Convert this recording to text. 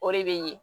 O de bɛ ɲɛ